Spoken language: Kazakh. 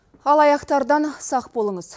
алаяқтардан сақ болыңыз